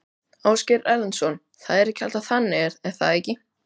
Ásgeir Erlendsson: Það er alltaf þannig er það ekki?